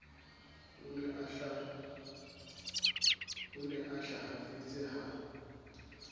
o ne a hlahafetse ha